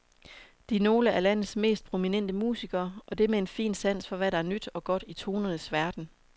De er nogle af landets mest prominente musikere, og det med en fin sans for hvad der er nyt og godt i tonernes verden.